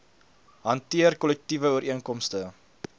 hanteer kollektiewe ooreenkomste